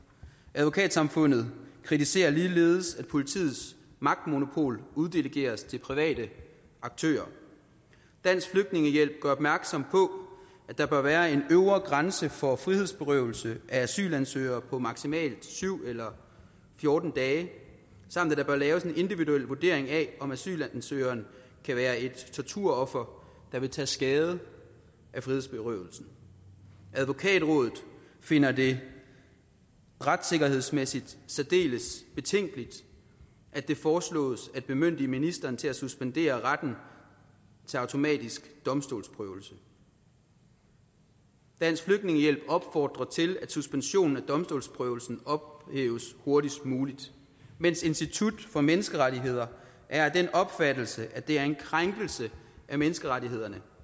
advokatsamfundet kritiserer ligeledes at politiets magtmonopol uddelegeres til private aktører dansk flygtningehjælp gør opmærksom på at der bør være en øvre grænse for frihedsberøvelse af asylansøgere på maksimalt syv eller fjorten dage samt at der bør laves en individuel vurdering af om asylansøgeren kan være et torturoffer der vil tage skade af frihedsberøvelsen advokatrådet finder det retssikkerhedsmæssigt særdeles betænkeligt at det foreslås at bemyndige ministeren til at suspendere retten til automatisk domstolsprøvelse dansk flygtningehjælp opfordrer til at suspensionen af domstolsprøvelsen ophæves hurtigst muligt mens institut for menneskerettigheder er af den opfattelse at det er en krænkelse af menneskerettighederne